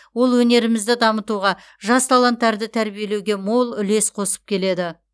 ол өнерімізді дамытуға жас таланттарды тәрбиелеуге мол үлес қосып келеді